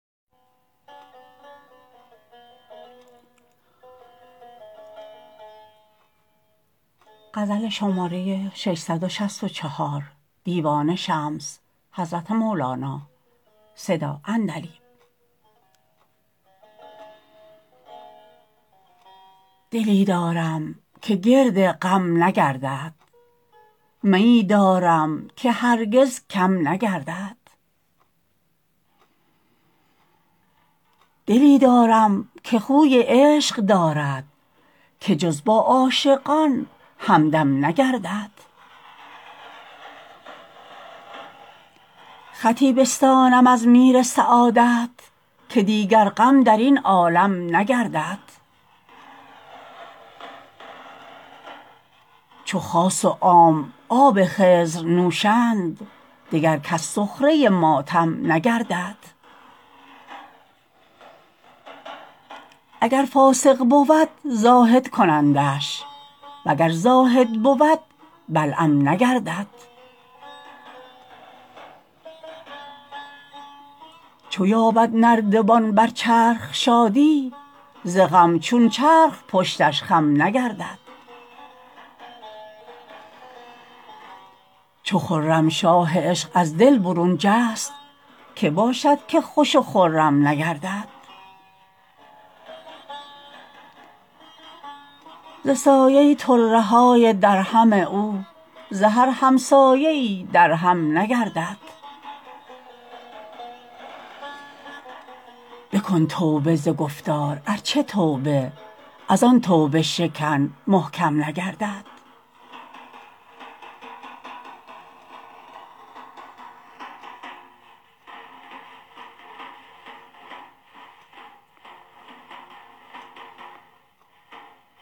دلی دارم که گرد غم نگردد میی دارم که هرگز کم نگردد دلی دارم که خوی عشق دارد که جز با عاشقان همدم نگردد خطی بستانم از میر سعادت که دیگر غم در این عالم نگردد چو خاص و عام آب خضر نوشند دگر کس سخره ماتم نگردد اگر فاسق بود زاهد کنندش وگر زاهد بود بلعم نگردد چو یابد نردبان بر چرخ شادی ز غم چون چرخ پشتش خم نگردد چو خرمشاه عشق از دل برون جست که باشد که خوش و خرم نگردد ز سایه طره های درهم او ز هر همسایه ای درهم نگردد بکن توبه ز گفتار ار چه توبه از آن توبه شکن محکم نگردد